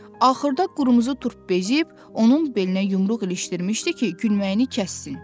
Axırda Qırmızı Turp bezib onun belinə yumruq ilişdirmişdi ki, gülməyini kəssin.